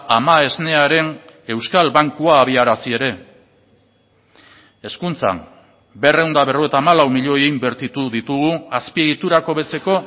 ama esnearen euskal bankua abiarazi ere hezkuntzan berrehun eta berrogeita hamalau milioi inbertitu ditugu azpiegiturak hobetzeko